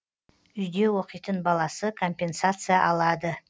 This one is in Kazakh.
үйде оқитын баласы компенсация алады